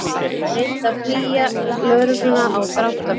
Reyndi að flýja lögregluna á dráttarbíl